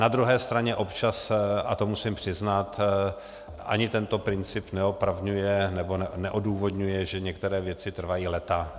Na druhé straně občas, a to musím přiznat, ani tento princip neopravňuje, nebo neodůvodňuje, že některé věci trvají léta.